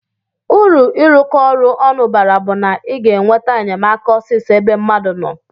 Uru irụkọ ọru onụ bara bu na iga enweta enyemaka osisọ ebe mmadu noo.